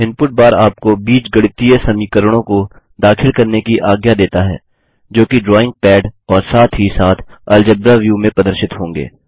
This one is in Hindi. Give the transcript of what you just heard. इनपुट बार आपको बीजगणितीय समीकरणों को दाखिल करने की आज्ञा देता है जो कि ड्रॉइंग पैड और साथ ही साथ अलजेब्रा व्यू में प्रदर्शित होंगे